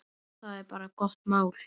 Það er bara gott mál.